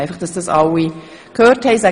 Dies, damit es alle gehört haben.